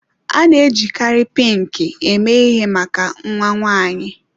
A na-ejikarị Pinki eme ihe maka nnwa nwaanyi.